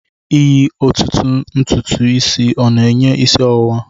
Eyi otutu ntutu isi o'na-enye isi ọwụwa?